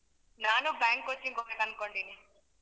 ನಾನು bank coaching ಹೋಗ್ಬೇಕು ಅನ್ಕೊಂಡಿದ್ದೀನಿ.